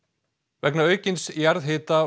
vegna aukins jarðhita